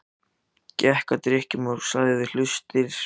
Gekk að dyrunum og lagði við hlustir.